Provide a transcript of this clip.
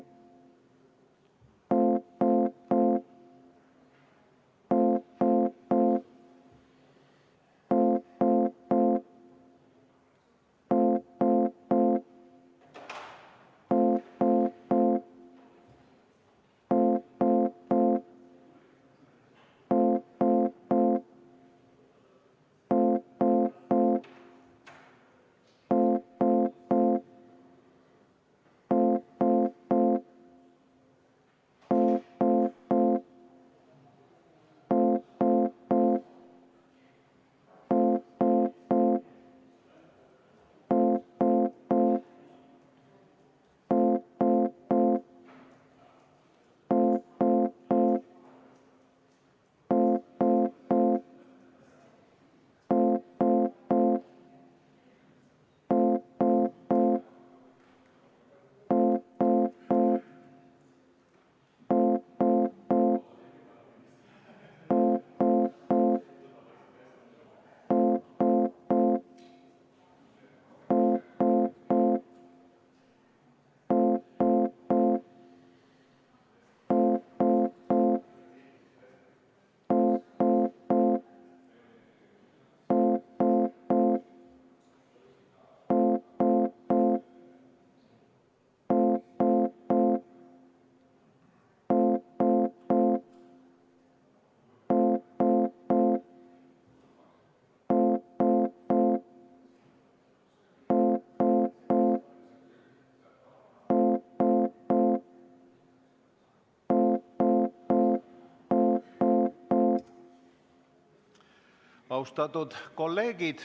Austatud kolleegid!